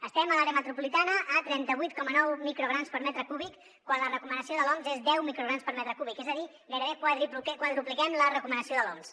estem a l’àrea metropolitana a trenta vuit coma nou micrograms per metre cúbic quan la recomanació de l’oms és deu micrograms per metre cúbic és a dir gairebé quadrupliquem la recomanació de l’oms